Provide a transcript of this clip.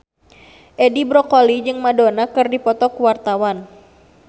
Edi Brokoli jeung Madonna keur dipoto ku wartawan